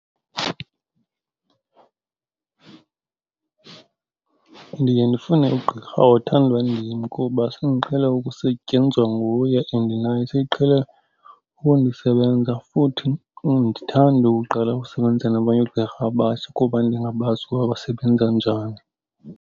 Ndiye ndifune ugqirha othandwa ndim kuba sendiqhele ukusetyenzwa nguye and naye seqhele ukundisebenza, futhi andithandi uqala ukusebenza nabanye oogqirha abatsha kuba ndingabazi ukuba basebenza njani.